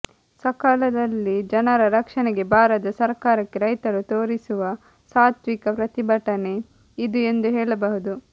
ಸಕಾಲದಲ್ಲಿ ಜನರ ರಕ್ಷಣೆಗೆ ಬಾರದ ಸರ್ಕಾರಕ್ಕೆ ರೈತರು ತೋರಿಸುವ ಸಾತ್ವಿಕ ಪ್ರತಿಭಟನೆ ಇದು ಎಂದು ಹೇಳಬಹುದು